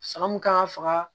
San mun kan ka faga